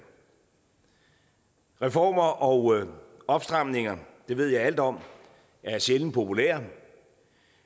reformer og opstramninger det ved jeg alt om er sjældent populære